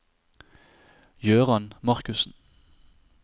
Jøran Markussen